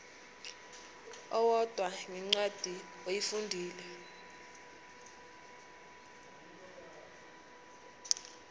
owodwa ngencwadi oyifundile